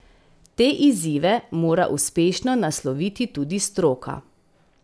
Te izzive mora uspešno nasloviti tudi stroka.